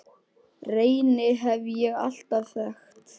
Reyni hef ég alltaf þekkt.